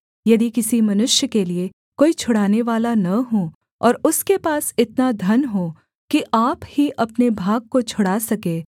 यदि किसी मनुष्य के लिये कोई छुड़ानेवाला न हो और उसके पास इतना धन हो कि आप ही अपने भाग को छुड़ा सके